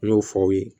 N y'o fɔ aw ye